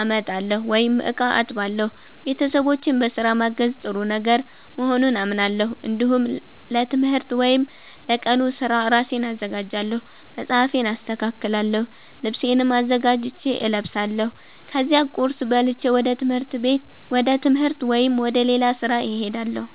አመጣለሁ ወይም እቃ አጥባለሁ። ቤተሰቦቼን በስራ ማገዝ ጥሩ ነገር መሆኑን አምናለሁ። እንዲሁም ለትምህርት ወይም ለቀኑ ስራ ራሴን አዘጋጃለሁ። መጽሐፌን አስተካክላለሁ፣ ልብሴንም አዘጋጅቼ እለብሳለሁ። ከዚያ ቁርስ በልቼ ወደ ትምህርት ወይም ወደ ሌላ ስራ እሄዳለሁ።